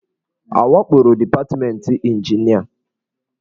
A wakporo departmentị ịnjinịa?